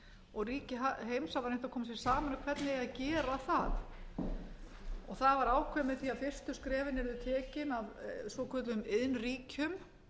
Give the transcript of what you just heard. og ríki heims hafa reynt að koma sér saman um hvernig eigi að gera það það var ákveðið með því að fyrstu skrefin yrðu tekin af svokölluðum